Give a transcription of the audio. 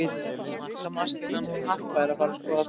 Markamaskínan hún Harpa er að fara skora þrennu.